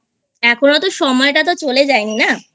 এখন অত সময়টা তো চলে যায়নি না I